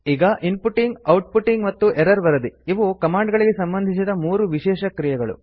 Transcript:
ಈಗ inputting outputting ಮತ್ತು error ವರದಿ ಇವು ಕಮಾಂಡ್ ಗಳಿಗೆ ಸಂಬಂಧಿಸಿದ ಮೂರು ವಿಶೇಷ ಕ್ರಿಯೆಗಳು